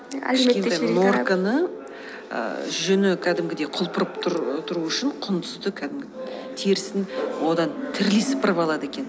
норканы ііі жүні кәдімгідей құлпырып тұру үшін құңдызды кәдімгі терісін одан тірідей сыпырып алады екен